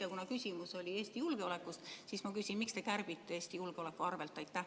Aga kuna küsimus oli Eesti julgeolekust, siis ma küsin: miks te kärbite Eesti julgeoleku arvel?